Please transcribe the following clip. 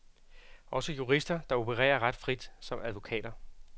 Også jurister, der opererer ret frit som advokater.